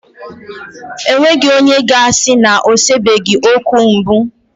E nweghi onye ga-asi na o sebeghi okwu mbụ